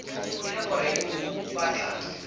e le gore o batla